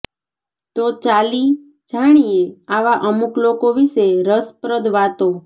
તો ચાલી જાણીએ આવા અમુક લોકો વિશે રશપ્રદ વાતો